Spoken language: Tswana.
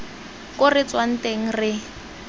ko re tswang teng re